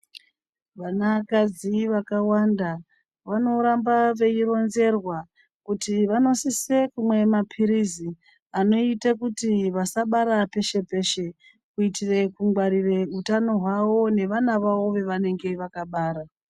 Vanakadzi vakawanda vanoramba veironzerwa kuti vanosisa kuramba veimwa mapirizi anoita kuti vasabara peshe peshe kuitira kungwarira utano hwavo nevana vavo vavakabara.